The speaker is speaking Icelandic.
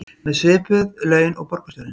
Með svipuð laun og borgarstjórinn